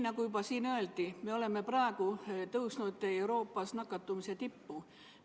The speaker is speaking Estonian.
Nagu siin juba öeldi, me oleme praegu tõusnud Euroopas nakatumise tippu.